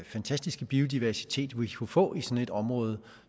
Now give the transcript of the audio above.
fantastiske biodiversitet vi ville kunne få i sådan et område